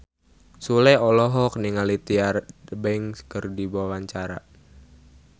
Sule olohok ningali Tyra Banks keur diwawancara